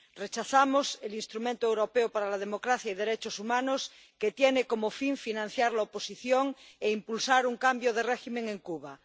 Rechazamos el Instrumento Europeo para la Democracia y los Derechos Humanos que tiene como fin financiar la oposición e impulsar un cambio de régimen en Cuba.